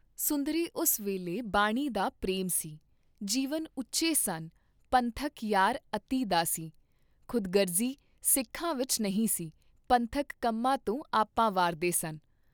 ਸੁੰਦਰੀ ਉਸ ਵੇਲੇ ਬਾਣੀ ਦਾ ਪ੍ਰੇਮ ਸੀ, ਜੀਵਨ ਉੱਚੇ ਸਨ ਪੰਥਕ ਯਾਰ ਅਤਿ ਦਾ ਸੀ, ਖੁਦਗਰਜੀ ਸਿੱਖਾਂ ਵਿਚ ਨਹੀਂ ਸੀ, ਪੰਥਕ ਕੰਮਾਂ ਤੋਂ ਆਪਾ ਵਾਰਦੇ ਸਨ।